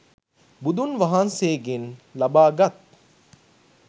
බුදුන් වහන්සේගෙන් ලබාගත්